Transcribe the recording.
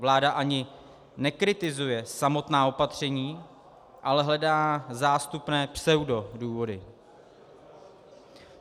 Vláda ani nekritizuje samotná opatření, ale hledá zástupné pseudodůvody.